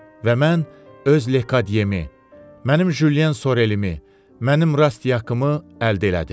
Və mən öz Lekadyemi, mənim Jyen Sorelimi, mənim Rastyakımı əldə elədim.